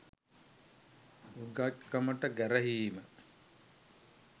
උගත්කමට ගැරහීම